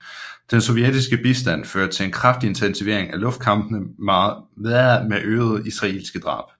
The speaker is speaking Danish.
Den sovjetiske bistand førte til en kraftig intensivering af luftkampene med øgede israelske tab